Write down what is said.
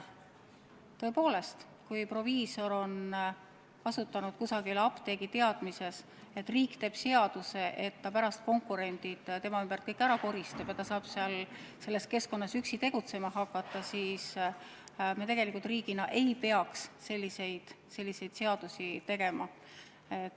Tõepoolest, kui proviisor on kusagil asutanud apteegi teadmises, et riik teeb seaduse, mille järgi ta pärast kõik konkurendid tema ümbert ära koristab, nii et ta saab selles keskkonnas üksi tegutsema hakata – me tegelikult riigina ei peaks selliseid seadusi tegema.